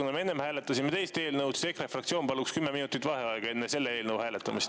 Kuna me enne hääletasime teist eelnõu, siis EKRE fraktsioon palub nüüd kümme minutit vaheaega enne selle eelnõu hääletamist.